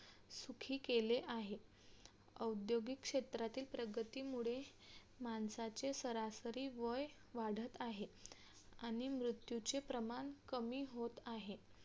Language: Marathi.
सुखी केले आहे औद्योगिक क्षेत्राच्या प्रगतीमुळे माणसाचे सरासरी वय वाढत आहे आणि मृत्यूचे प्रमाण कमी होत आहे